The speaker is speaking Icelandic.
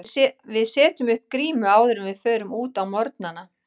Við setjum upp grímu áður en við förum út á morgnana.